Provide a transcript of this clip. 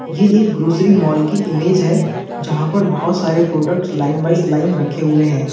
ये एक grocery mall की इमेज है जहां पर बहोत सारे प्रोडक्ट लाइन वाइज लाइन रखे हुए हैं।